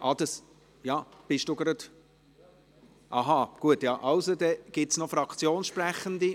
– Von der SP-JUSO-PSA-Fraktion hat noch niemand gesprochen.